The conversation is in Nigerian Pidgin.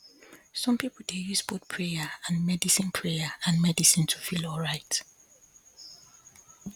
some people dey use both prayer and medicine prayer and medicine to feel alright